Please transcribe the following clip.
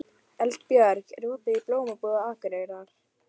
Eldbjörg, er opið í Blómabúð Akureyrar?